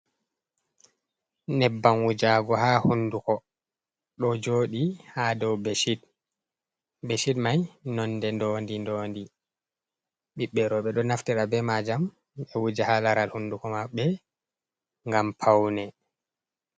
Ynebbam wujagu ha hunduko ɗo jodi ha dow beshid, beshid mai nonde ndondi dondi, ɓiɓɓe roɓɓe ɗo naftira be majam ɓe wuja ha laral hunduko maɓɓe gam paune.